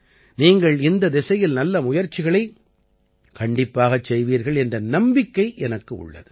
நீங்கள் இந்தத் திசையில் நல்ல முயற்சிகளைக் கண்டிப்பாகச் செய்வீர்கள் என்ற நம்பிக்கை எனக்கு உள்ளது